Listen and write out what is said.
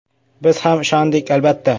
Biz ham ishondik, albatta.